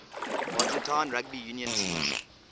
argentine rugby union teams